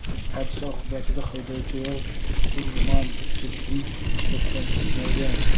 Hodisa oqibatida haydovchi va shturman jiddiy shikastlanmagan.